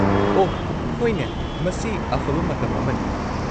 -ꯑꯣꯍ ꯍꯣꯏꯅꯦ, ꯃꯁꯤ ꯑꯐꯕ ꯃꯇꯝ ꯑꯃꯅꯤ꯫